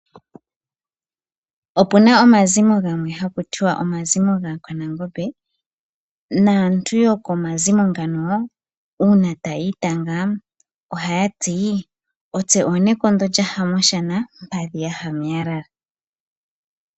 Opuna omazimo gamwe haku tiwa omazimo gAakwanangombe . Naantu yokomazimo ngano uuna tayi itanga ohaya ti otse oonekondo lyaha moshana, mpadhi yaya meyalala.